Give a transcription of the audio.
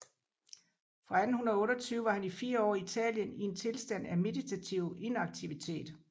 Fra 1828 var han fire år i Italien i en tilstand af meditativ inaktivitet